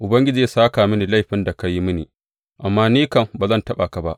Ubangiji zai sāka mini laifin da ka yi mini, amma ni kam ba zan taɓa ka ba.